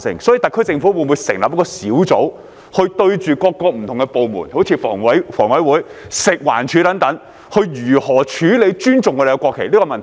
所以，特區政府會否成立一個小組，研究各個不同的部門，例如房委會、食物環境衞生署等，應如何處理尊重國旗這個問題？